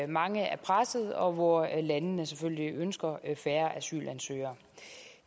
mange er presset og hvor landene selvfølgelig ønsker færre asylansøgere